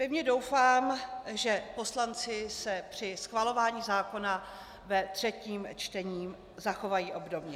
Pevně doufám, že poslanci se při schvalování zákona ve třetím čtení zachovají obdobně.